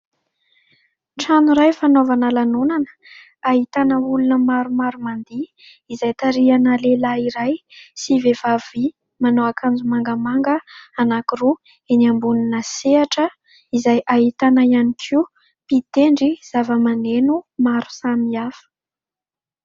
Trano iray fanaovana lanonana ahitana olona maromaro ma ndihy izay tarihana lehilahy iray sy vehivavy manao akanjo mangamanga anankiroa eny ambonina sehatra izay ahitana ihany koa mpitendry zava-maneno maro samy hafa.